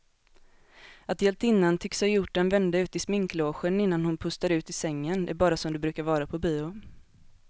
Att hjältinnan tycks ha gjort en vända ut i sminklogen innan hon pustar ut i sängen är bara som det brukar vara på bio.